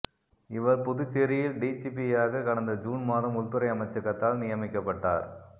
இவர் புதுச்சேரியில் டிஜிபியாக கடந்த ஜூன் மாதம் உள்துறை அமைச்சகத்தால் நியமிக்கப்பட்டார்